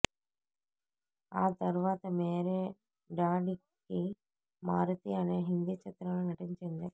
ఆ తర్వాత మేరే డాడ్ కీ మారుతీ అనే హిందీ చిత్రంలో నటించింది